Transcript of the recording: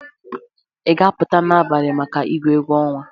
Ị ga-apụta n'abalị maka igwu egwu ọnwa?